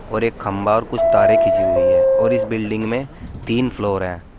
और एक खंभा और कुछ तारे किसी हुई है और इस बिल्डिंग में तीन फ्लोर है।